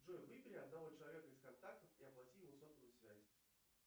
джой выбери одного человека из контактов и оплати ему сотовую связь